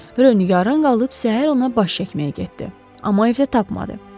Rö nigaran qalıb səhər ona baş çəkməyə getdi, amma evdə tapmadı.